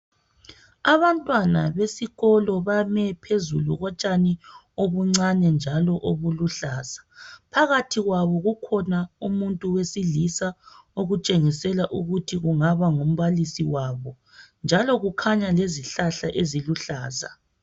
Abantwana besikolo bame phezulu kotshani obuncane njalo obuluhlaza , phakathi kwabo kukhona umuntu wesilisa okutshengisela ukuthi kungaba ngumbalisi wabo njalo kukhanya lezihlahla eziluhlaza